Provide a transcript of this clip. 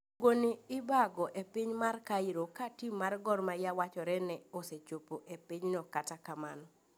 Tugoni obagi epiny mar Cairo katim mar Gor Mahia wachore ne osechopo epinyno kata kamano